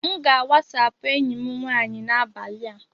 M ga- WhatsApp enyi m nwanyị n'abalị a.